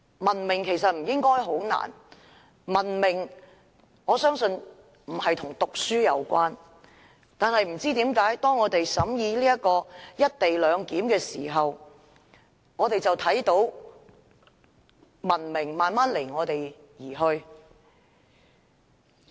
文明其實不應是困難的事，我相信文明與讀書無關，但不知為何，當我們審議《條例草案》時，卻看到文明慢慢離我們而去。